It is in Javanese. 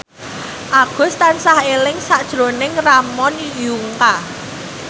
Agus tansah eling sakjroning Ramon Yungka